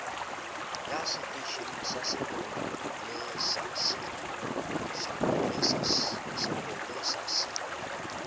ya seteisheneng sa sepolesa se